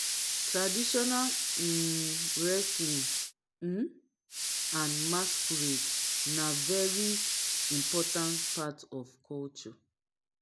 traditional um wrestling um and masquerade na very important part of culture